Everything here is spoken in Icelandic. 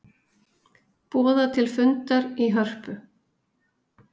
Boða til fundar í Hörpu